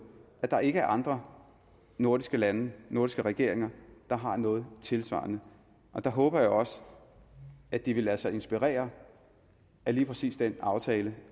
at der ikke er andre nordiske lande nordiske regeringer der har noget tilsvarende der håber jeg også at de vil lade sig inspirere af lige præcis den aftale